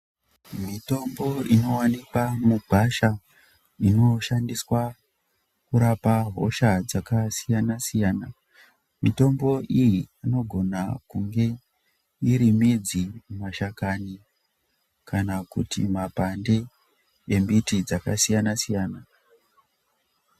Mitombo inowanikwa mugwasha inoshandiswa kurapa hosha dzakasiyana-siyana. Mitombo iyi inogona kunge iri midzi, mashakani kana kuti mapande embiti dzakasiyana-siyana.